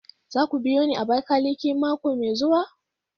Za ku biyo ni Abakiliki mako mai zuwa?